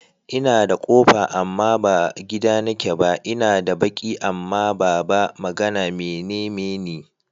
Ina da ƙofa amma ba gida nake ba, ina da baki amma ba ba magana, me neme ni?